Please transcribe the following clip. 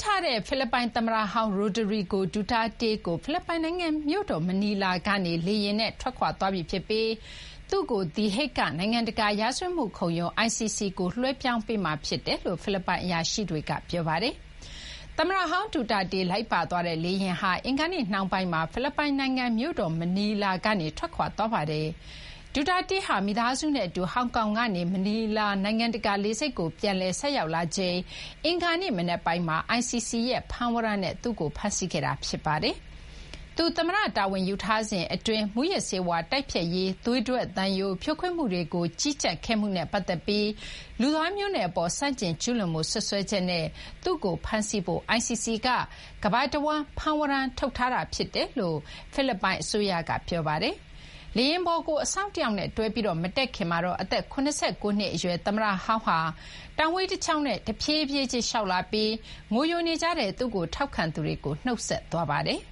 ထားရတဲ့ ဖိလစ်ပိုင်သမ္မတဟောင်း Rodrigo Duterte ဟာ ဖိလစ်ပိုင်နိုင်ငံ မြို့တော် မနီလာ ကနေ လေယာဉ်နဲ့ ထွက်ခွာသွားပြီးဖြစ်ပြီး သူ့ကို သည်ဟိဂ်က နိုင်ငံတကာ ရာဇဝတ်မှုခုံရုံး ICC ကို လွှဲပြောင်းပေးမှာဖြစ်ကြောင်း ဖိလစ်ပိုင် အရာရှိတွေက ပြောပါတယ်။ သမ္မတဟောင်း Duterte လိုက်ပါသွားတဲ့ လေယာဉ်ဟာ အင်္ဂါနေ့နှောင်းပိုင်းမှာ ဖိလစ်ပိုင်နိုင်ငံ မြို့တော် မနီလာကနေ ထွက်ခွာသွားပါတယ်။ Duterte ဟာ မိသားစုနဲ့ အတူ ဟောင်ကောင်ကနေ မနီလာ နိုင်ငံတကာလေဆိပ်ကို ပြန်လည် ဆိုက်ရောက်လာချိန် အင်္ဂါနေ့မနက်ပိုင်းမှာ ICC ရဲ့ ဖမ်းဝရမ်းနဲ့ သူ့ကို ဖမ်းဆီးခဲ့တာ ဖြစ်ပါတယ်။ သူ သမ္မတတာဝန် ယူထားစဉ်အတွင်း မူးယစ်ဆေးဝါးတိုက်ဖျက်ရေး သွေးထွက်သံယို ဖြိုခွင်းမှုတွေကို ကြီးကြပ်ခဲ့မှုနဲ့ ပတ်သက်ပြီး လူသားမျိုးနွယ်အပေါ် ဆန့်ကျင်ကျုးလွန်မှု စွပ်စွဲချက်နဲ့ သူ့ကို ဖမ်းဆီးဖို့ ICC က ကမ္ဘာတဝန်း ဖမ်းဝရမ်း ထုတ်ထားတာဖြစ်ကြောင်း ဖိလစ်ပိုင်အစိုးရက ပြောပါတယ်။ လေယာဉ်ပေါ် ကို အစောင့်တယောက်နဲ့ တွဲပြီး မတက်ခင်မှာတော့ အသက် ၇၉ နှစ်အရွယ် သမ္မတဟောင်းဟာ တောင်ဝှေးတချောင်းနဲ့ ဖြေးဖြေးချင်း လျှောက်လာပြီး ငိုယိုနေကြတဲ့ သူ့ကို ထောက်ခံသူတွေကို နှုတ်ဆက်ခဲ့ပါတယ်။